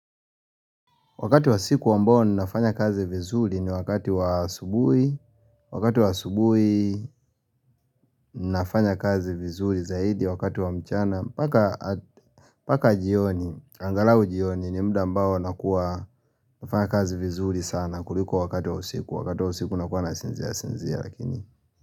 Wakati wa siku ambao ninafanya kazi vizuri ni wakati wa aubuhi. Wakati wa asubuhi ninafanya kazi vizuri zaidi wakati wa mchana mpaka mpaka jioni, angalau jioni ni muda ambao nakuwa nafanya kazi vizuri sana kuliko wakati wa usiku. Wakati wa usiku nakuwa nasinzia sinzia lakini.